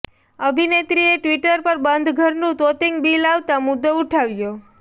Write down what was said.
અભિનેત્રીએ Twitter પર બંધ ઘરનું તોતિંગ બીલ આવતાં મુદ્દો ઉઠાવ્યો